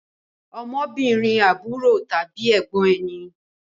Ọmọbìnrin àbúrò tàbí ẹ̀gbọ́n ẹni